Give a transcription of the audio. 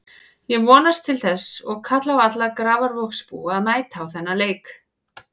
Ég vonast til þess og kalla á alla Grafarvogsbúa að mæta á þennan leik.